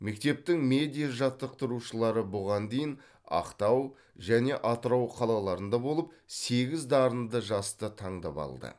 мектептің медиа жаттықтырушылары бұған дейін ақтау және атырау қалаларында болып сегіз дарынды жасты таңдап алды